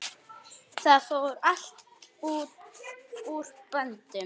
Það fór allt úr böndum.